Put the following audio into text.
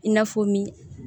I na fɔ min